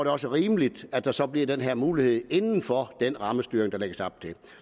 også rimeligt at der så bliver den her mulighed inden for den rammestyring der lægges op